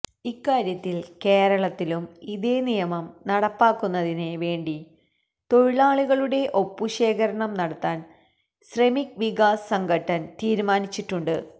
ഇക്കാര്യത്തിൽ കേരളത്തിലും ഇതേ നിയമം നടപ്പാക്കുന്നതിന് വേണ്ടി തൊഴിലാളികളുടെ ഒപ്പുശേഖരണം നടത്താൻ ശ്രമിക് വികാസ് സംഘട്ടൻ തീരുമാനിച്ചിട്ടുണ്ട്